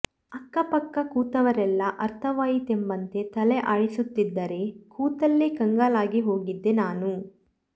ಅಕ್ಕ ಪಕ್ಕ ಕೂತವರೆಲ್ಲಾ ಅರ್ಥವಾಯಿತೆಂಬಂತೆ ತಲೆ ಆಡಿಸುತ್ತಿದ್ದರೆ ಕೂತಲ್ಲೇ ಕಂಗಾಲಾಗಿಹೋಗಿದ್ದೆ ನಾನು